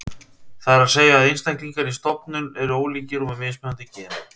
Það er að segja að einstaklingar í stofnum eru ólíkir og með mismunandi gen.